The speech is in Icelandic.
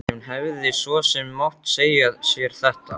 En hún hefði svo sem mátt segja sér þetta.